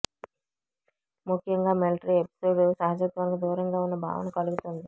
ముఖ్యంగా military episode సహజత్వానికి దూరంగా వున్న భావన కలుగుతుంది